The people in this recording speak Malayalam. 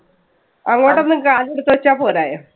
അങ്ങോട്ടൊന്ന് കാലെടുത്ത് വെച്ചാ പോരായോ.